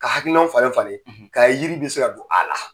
Ka hakilinanw falen falen k'a ye yiri bɛ se ka don a la.